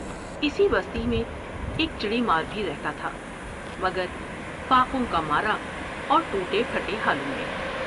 اسی بستی میں ایک چڑی مار بھی رہتا تھا مگر فاقوں کا مارا اور ٹو نے پچھٹے حالوں میں ۔